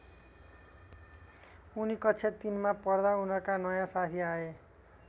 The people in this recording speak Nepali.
उनी कक्षा ३ मा पढ्दा उनका नयाँ साथी आए।